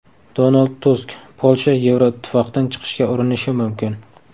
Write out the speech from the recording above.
Donald Tusk: Polsha Yevroittifoqdan chiqishga urinishi mumkin.